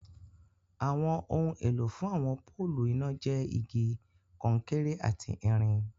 Awọn ọhun èlọ̀ fún awọn pọ̀lụ́ iná jẹ́ igi, kọ̀nkéré àti ìrìn